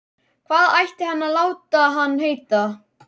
Hvað ætti hann að láta hann heita?